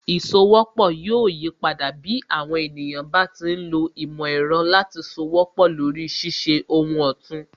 Ìsowọ́pọ̀ yóò yipadà, bí àwọn ènìyàn bá ti ń lo ìmò ẹ̀rọ láti sowọ́pọ̀ lori ṣíṣe ohun òtún